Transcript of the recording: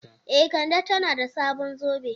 E, Kande tana da sabon zobe.